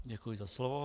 Děkuji za slovo.